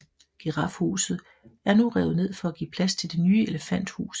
Girafhuset er nu revet ned for at give plads til Det nye elefanthus